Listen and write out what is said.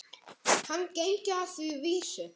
Hann gengi að því vísu.